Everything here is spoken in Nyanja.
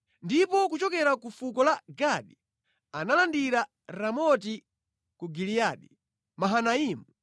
ndipo kuchokera ku fuko la Gadi analandira Ramoti ku Giliyadi, Mahanaimu,